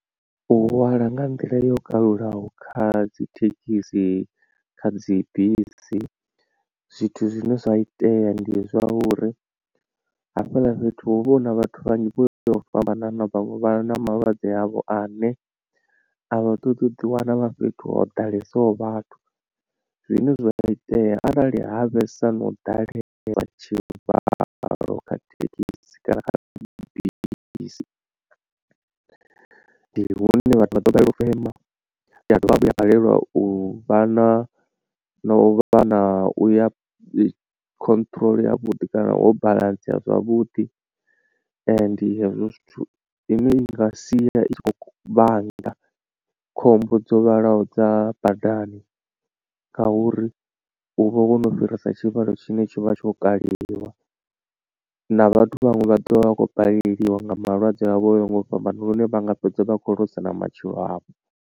U hwala nga nḓila yo kalulaho kha dzi thekhisi kha dzi bisi zwithu zwine zwa itea ndi zwa uri hafhaḽa fhethu hu vha hu na vhathu vhanzhi vho fhambananaho vhaṅwe vha na malwadze avho ane a vha ṱoḓi u ḓi wana vha fhethu ho ḓalesaho vhathu. Zwine zwa itea arali ha vhesa no ḓalesa tshivhalo kha thekhisi kana bisi ndi hune vhathu vha ḓo balelwa u fema vha dovha hafhu vha balelwa u vha na u vha na u vha na khonṱhoroḽa yavhuḓi kana ho baḽantsea zwavhuḓi ndi hezwo zwithu. Ine i nga sia i tshi khou vhanga khombo dzo vhalaho dza badani ngauri u vha wo no fhirisa tshivhalo tshine tshi vha tsho kaliwa na vhathu vhaṅwe vha dovha vha vha khou balelwa nga malwadze avho o yaho nga u fhambana lune vha nga fhedza vha khou loser na matshilo avho.